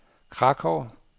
Krakow